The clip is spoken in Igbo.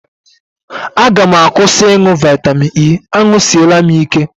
A ga m akwụsị ịṅụ vitamin E, añụsịela m ya ike